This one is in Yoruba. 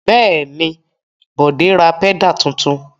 Bẹ́ẹ̀ ni, Bọ̀dé ra pẹ́dà tuntun.